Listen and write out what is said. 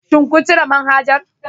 Shin kun cire manhajar